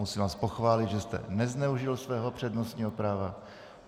Musím vás pochválit, že jste nezneužil svého přednostního práva.